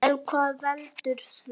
En hvað veldur því?